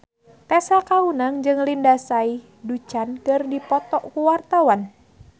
Tessa Kaunang jeung Lindsay Ducan keur dipoto ku wartawan